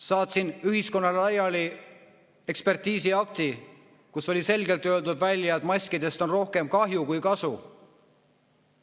Saatsin ühiskonnale laiali ekspertiisiakti, milles oli selgelt välja öeldud, et maskidest on rohkem kahju kui kasu.